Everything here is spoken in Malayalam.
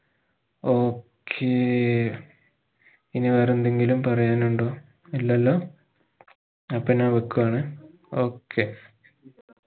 okay ഇനി വേറെന്തെങ്കിലും പറയാനുണ്ടോ ഇലല്ലോ അപ്പൊ ഞാൻ വെക്കുകയാണ് okay